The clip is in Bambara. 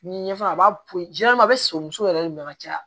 N'i ye ɲɛfɛ a b'a poyi a bɛ son muso yɛrɛ de ma ka caya